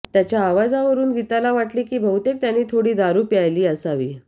त्याच्या आवाजावरून गीताला वाटले की बहुतेक त्याने थोडी दारू प्यायली असावी